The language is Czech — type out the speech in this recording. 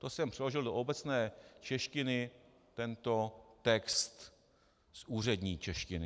To jsem přeložil do obecné češtiny tento text z úřední češtiny.